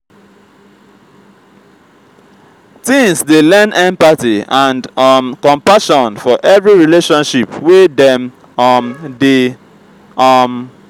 teens dey learn empathy and um compassion for every relationship wey dem um dey. um